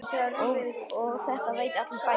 Og þetta veit allur bærinn?